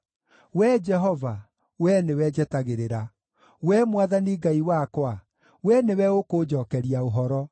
Wee Jehova, Wee nĩwe njetagĩrĩra; Wee Mwathani Ngai wakwa, Wee nĩwe ũkũnjookeria ũhoro.